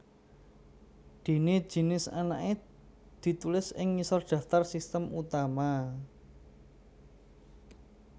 Déné jinis anakané ditulis ing ngisor daftar sistem utama